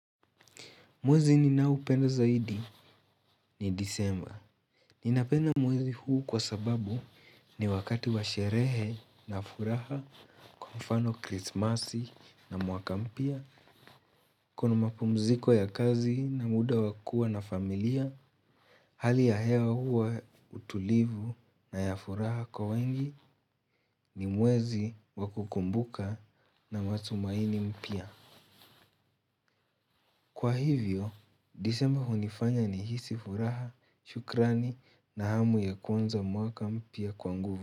Mwezi ninao upenda zaidi ni desemba. Ninapenda mwezi huu kwa sababu ni wakati washerehe na furaha kwa mfano krismasi na mwaka mpya. Kuna mapumziko ya kazi na muda wa kua na familia. Hali ya hewa huwa utulivu na ya furaha kwa wengi ni mwezi wakukumbuka na matumaini mpya. Kwa hivyo, desemba hunifanya ni hisi furaha, shukrani na hamu ya kuanza mwaka mpya kwa nguvu.